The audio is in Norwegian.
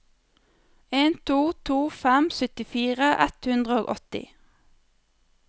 en to to fem syttifire ett hundre og åtti